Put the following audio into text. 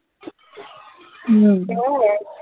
হম "